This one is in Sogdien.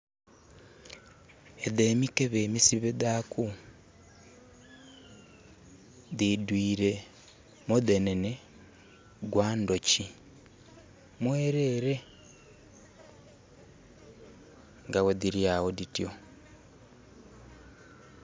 Edho emikebe emisibe dhaku dhidhuire mudhenenhe gwa ndhuki mwerere nga ghedhiri agho dhityo.